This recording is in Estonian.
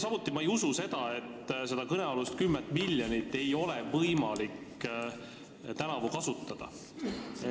Samuti ma ei usu seda, et seda kõnealust 10 miljonit ei ole võimalik tänavu kasutada.